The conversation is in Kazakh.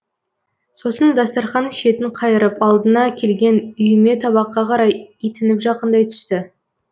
сосын дастарқан шетін қайырып алдына келген үйме табаққа қарай итініп жақындай түсті